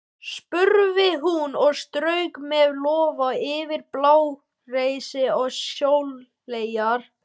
spurði hún og strauk með lófa yfir blágresi og sóleyjar.